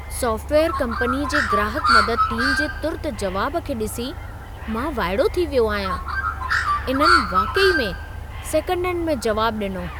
Software कंपनीअ जी ग्राहकु मदद टीम जे तुर्त जवाब खे ॾिसी मां वाइड़ो थी वियो आहियां। इन्हनि वाक़ई में सेकंडनि में जवाब ॾिनो।